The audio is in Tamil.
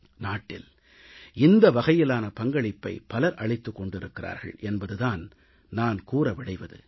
நாட்டில் இந்த வகையிலான பங்களிப்பை பலர் அளித்துக் கொண்டிருக்கிறார்கள் என்பது தான் நான் கூற விழைவது